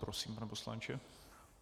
Prosím, pane poslanče.